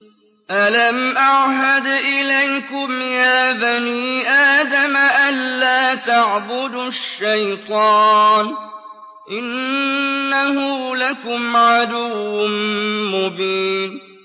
۞ أَلَمْ أَعْهَدْ إِلَيْكُمْ يَا بَنِي آدَمَ أَن لَّا تَعْبُدُوا الشَّيْطَانَ ۖ إِنَّهُ لَكُمْ عَدُوٌّ مُّبِينٌ